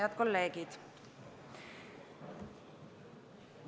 Head kolleegid!